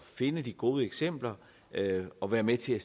finde de gode eksempler og være med til at